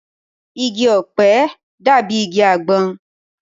Igi ọ̀pẹ dàbí igi àgbọn